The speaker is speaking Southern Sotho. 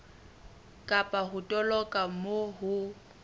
kapa ho toloka moo ho